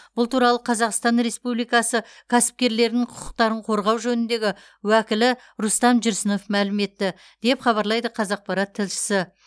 бұл туралы қазақстан республикасы кәсіпкерлерін құқықтарын қорғау жөніндегі уәкілі рустам жүрсінов мәлім етті деп хабарлайды қазақпарат тілшісі